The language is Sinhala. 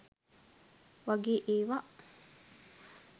වගේ ඒවා.